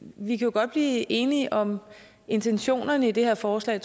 vi kan godt blive enige om intentionerne i de her forslag